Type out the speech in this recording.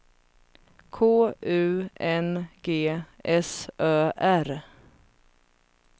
K U N G S Ö R